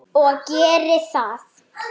Hverfur ekki.